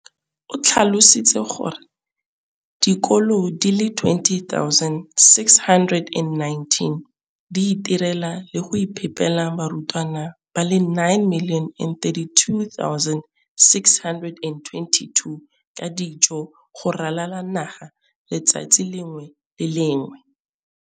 o tlhalositse gore dikolo di le 20 619 di itirela le go iphepela barutwana ba le 9 032 622 ka dijo go ralala naga letsatsi le lengwe le le lengwe.